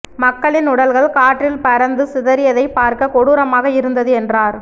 மக்களின் உடல்கள் காற்றில் பறந்து சிதறியதை பார்க்க கொடூரமாக இருந்தது என்றார்